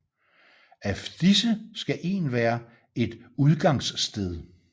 Af disse skal en være et udgangssted